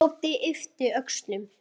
Tóti yppti öxlum.